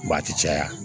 a ti caya